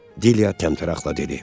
Dilya təntəraqlə dedi.